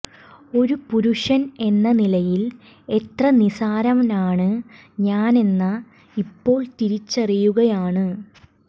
ഒരു പുരുഷൻ എന്ന നിലയിൽ എത്ര നിസാരനാണ് ഞാനെന്ന ഇപ്പോൾ തിരിച്ചറിയുകയാണ്